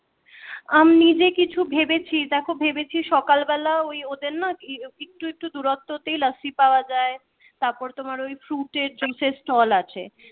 আমি নিজে কিছু ভেবেছি দেখো ভেবেছি সকাল বেলা ওই ওদের না একটু একটু দূরত্ব তে লস্যি পাওয়া যায় তারপর তোমার ওই fruit এর juice এর stall আছে